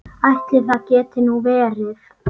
Ætli það geti nú verið.